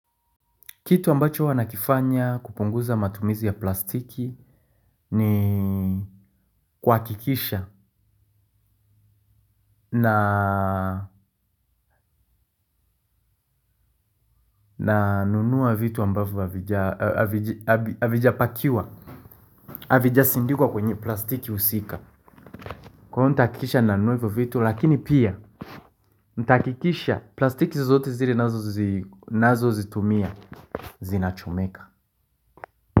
Kitu ambacho wana kifanya kupunguza matumizi ya plastiki ni kuhakikisha na nunua vitu ambavyo havijapakiwa, havijasindikwa kwenye plastiki husika. Kwa hivyo nitahakikisha na nunua hivo vitu lakini pia, nitahakikisha plastiki zote zile nazo zitumia, zinachomeka.